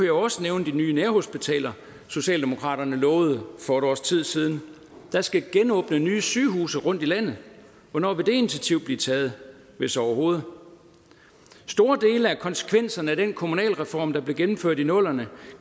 jo også nævne de nye nærhospitaler socialdemokraterne lovede for et års tid siden der skal genåbne nye sygehuse rundt i landet hvornår vil det initiativ blive taget hvis overhovedet store dele af konsekvenserne af den kommunalreform der blev gennemført i nullerne